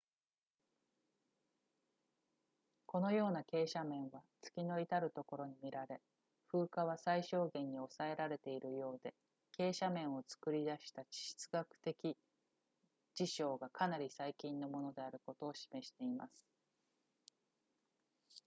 このような傾斜面は月のいたるところに見られ風化は最小限に抑えられているようで傾斜面を作り出した地質学的事象がかなり最近のものであることを示しています